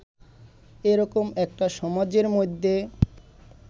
এ রকম একটা সমাজের মধ্যে